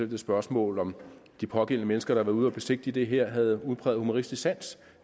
det spørgsmål om de pågældende mennesker der havde været ude at besigtige det her havde udpræget humoristisk sans